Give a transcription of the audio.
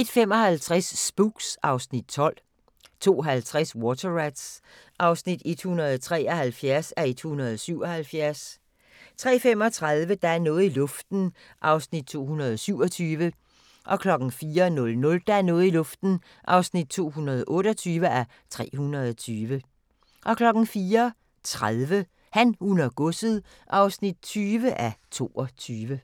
01:55: Spooks (Afs. 12) 02:50: Water Rats (173:177) 03:35: Der er noget i luften (227:320) 04:00: Der er noget i luften (228:320) 04:30: Han, hun og godset (20:22)